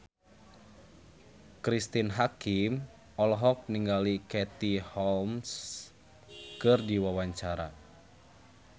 Cristine Hakim olohok ningali Katie Holmes keur diwawancara